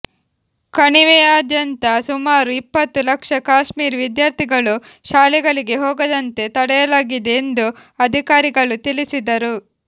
ಕಣಿವೆಯಾದ್ಯಂತ ಸುಮಾರು ಇಪ್ಪತ್ತು ಲಕ್ಷ ಕಾಶ್ಮೀರಿ ವಿದ್ಯಾರ್ಥಿಗಳು ಶಾಲೆಗಳಿಗೆ ಹೋಗದಂತೆ ತಡೆಯಲಾಗಿದೆ ಎಂದು ಅಧಿಕಾರಿಗಳು ತಿಳಿಸಿದರು